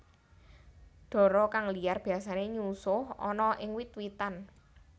Dara kang liar biasane nyusuh ana ing wit witan